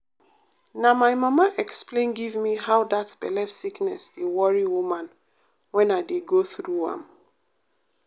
na my mama explain give me how that belle sickness dey worry woman when i dey go through am.